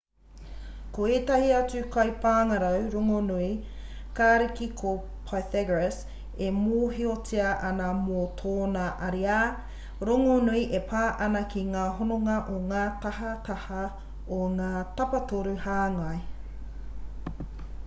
ko ētahi atu kaipāngarau rongonui kariki ko pythagoras e mōhiotia ana mō tōna ariā rongonui e pā ana ki ngā hononga o ngā tahataha o ngā tapatoru hāngai